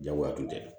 Jagoya tun tɛ